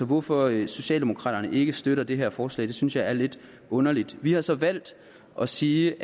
hvorfor socialdemokraterne ikke støtter det her forslag synes jeg er lidt underligt vi har så valgt at sige